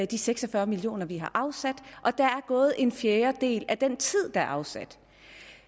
de seks og fyrre million kr vi har afsat og der er gået en fjerdedel af den tid der er afsat